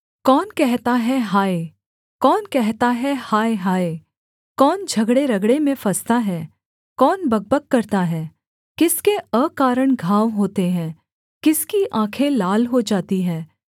कौन कहता है हाय कौन कहता है हाय हाय कौन झगड़ेरगड़े में फँसता है कौन बकबक करता है किसके अकारण घाव होते हैं किसकी आँखें लाल हो जाती हैं